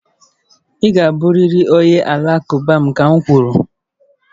Ị ga-abụrịrị onye Alakụba ka m kwuru!